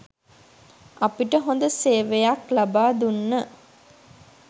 අපිට හොඳ සේවයක් ලබා දුන්න.